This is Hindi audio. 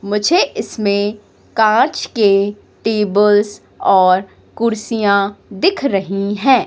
मुझे इसमें कांच के टेबल्स और कुर्सियां दिख रही है।